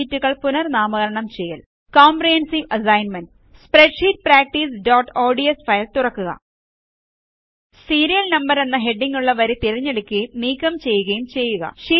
ഷീറ്റുകൾ പുനർനാമകരണം ചെയ്യൽ കോംപ്രഹെൻസീവ് അസസ്സ്മെൻറ് സ്പ്രെഡ്ഷീറ്റ് practiceഓഡ്സ് ഫയൽ തുറക്കുക സീരിയൽ നംബർ എന്ന ഹെഡിംഗ്ങ്ങുള്ള വരി തിരഞ്ഞെടുക്കുകയും നീക്കം ചെയ്യുകയും ചെയ്യുക